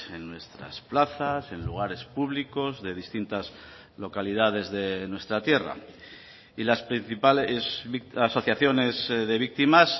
en nuestras plazas en lugares públicos de distintas localidades de nuestra tierra y las principales asociaciones de víctimas